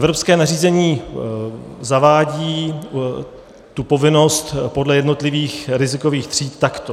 Evropské nařízení zavádí tu povinnost podle jednotlivých rizikových tříd takto.